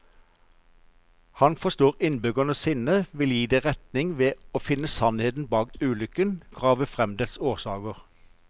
Han forstår innbyggernes sinne, vil gi det retning ved å finne sannheten bak ulykken, grave frem dens årsaker.